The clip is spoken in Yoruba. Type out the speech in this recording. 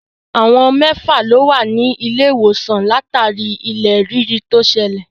Àwọn mẹ́fà lo wà nílé ìwòsàn látàrí ilẹ̀ rírì tó ṣẹlẹ̀.